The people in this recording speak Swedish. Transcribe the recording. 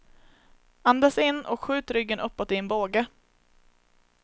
Andas in och skjut ryggen uppåt i en båge.